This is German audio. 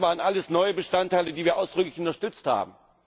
Das waren alles neue Bestandteile, die wir ausdrücklich unterstützt haben.